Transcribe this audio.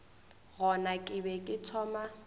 gona ke be ke thoma